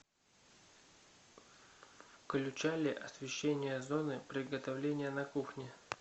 включали освещение зоны приготовления на кухне